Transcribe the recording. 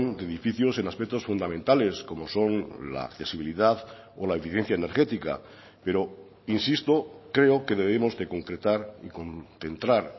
de edificios en aspectos fundamentales como son la accesibilidad o la eficiencia energética pero insisto creo que debemos de concretar y concentrar